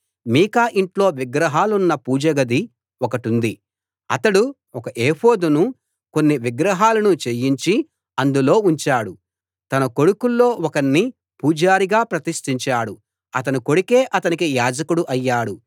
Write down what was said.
మీకా ఇంట్లో విగ్రహాలున్న పూజ గది ఒకటుంది అతడు ఒక ఎఫోదునూ కొన్ని విగ్రహాలనూ చేయించి అందులో ఉంచాడు తన కొడుకుల్లో ఒకణ్ణి పూజారిగా ప్రతిష్టించాడు అతని కొడుకే అతనికి యాజకుడు అయ్యాడు